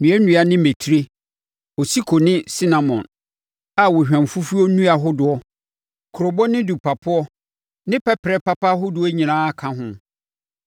nnuannua ne mmɛtire, osiko ne sinamon, a ohwamfufuo nnua hodoɔ, kurobo ne dupapoɔ ne pɛperɛ papa ahodoɔ nyinaa ka ho.